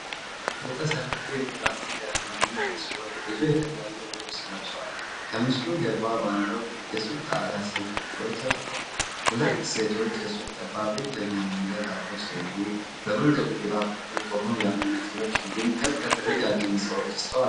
የተሰለፉ ፕላስቲክ የአሻንጉሊት ምስሎች ብዙ የተለያየ ልብስ ለብሰዋል። ከምስሎቹ ጀርባ ባለው የሱቅ ጣሪያ ስልክ ቁጥሮች ተጽፈዋል። ሁለት ሴቶች የሱቁን ጠባብ የእግረኛ መንገድ አልፈው ሲሄዱ፣ በመንገዱ ግራ በኩል ቆመው ያሉ መኪናዎች እንዲሁም ከርቀት ረጃጅም ሕንጻዎች ይስተዋላሉ።